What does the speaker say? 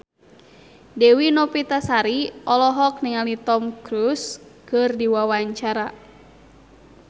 Dewi Novitasari olohok ningali Tom Cruise keur diwawancara